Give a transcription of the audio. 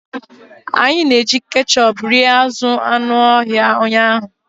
Anyị na-eji ketchup rie azụ̀ anụ ọhịa ụnyahụ.